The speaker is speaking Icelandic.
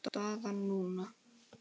Staðan núna?